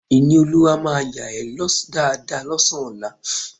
Ìníolúwa máa yà ẹ́ dáadáa lọ́sàn-án ọlá